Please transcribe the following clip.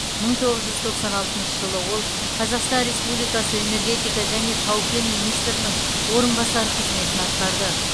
мың тоғыз жүз тоқсан алтыншы жылы ол қазақстан республикасы энергетика және тау кен министрінің орынбасары қызметін атқарды